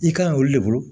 I kan yi olu de bolo